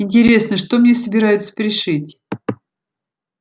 интересно что мне собираются пришить